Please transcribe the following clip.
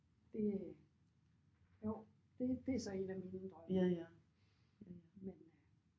Det øh jo det det er så en af mine drømme men men øh